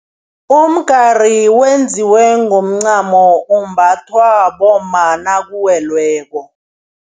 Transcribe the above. Umgari wenziwe ngomncamo umbathwa bomma nakuwelweko.